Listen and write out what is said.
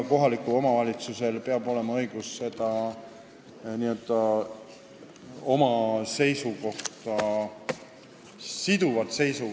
Kohalikul omavalitsusel peab olema õigus välja öelda oma seisukoht ja see peab olema siduv.